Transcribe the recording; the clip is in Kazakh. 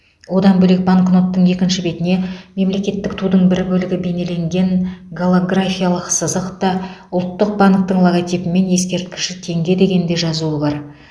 одан бөлек банкноттың екінші бетіне мемлекеттік тудың бір бөлігі бейнеленген голографиялық сызық та ұлттық банктің логотипі мен ескерткіш теңге деген де жазу бар